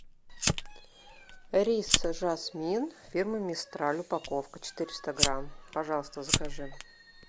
рис жасмин фирмы мистраль упаковка четыреста грамм пожалуйста закажи